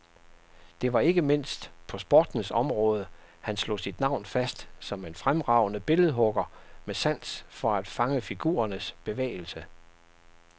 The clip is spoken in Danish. Det var ikke mindst på sportens område, han slog sit navn fast som en fremragende billedhugger med sans for at fange figurernes bevægelse.